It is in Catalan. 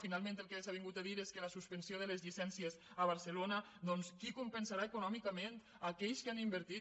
finalment el que s’ha dit és que la suspensió de les llicències a barcelona doncs qui compensarà econòmicament aquells que han invertit